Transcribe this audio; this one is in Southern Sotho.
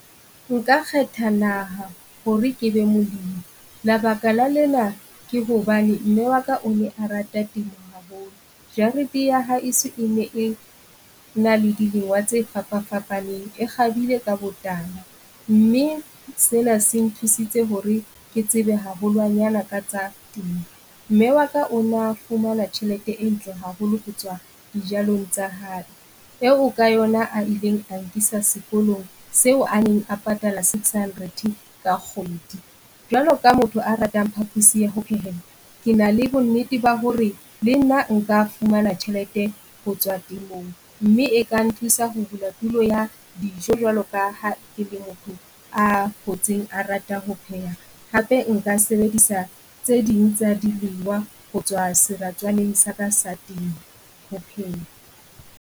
Nka kgetha naha hore ke be molemi labaka la lena ke hobane mme wa ka o ne a rata temo haholo. Jarete ya haeso e ne e na le di lengwa tse fapafapaneng. E kgabile ka botala, mme sena se nthusitse hore ke tsebe haholwanyane ka tsa temo. Mme wa ka o na fumana tjhelete e ntle haholo ho tswa dijalong tsa hae, eo ka yona a ileng a nkisa sekolong seo a neng a patala six hundred ka kgwedi. Jwalo ka motho a ratang phapusi ya ho phehela ke na le bonnete ba hore le nna nka fumana tjhelete ho tswa temong, mme e ka nthusa ho bula tulo ya dijo jwalo ka ha ke le motho a hotseng a rata ho phetha. hape nka sebedisa tse ding tsa dilengwa ho tswa seratswaneng sa ka sa temo ho pheha.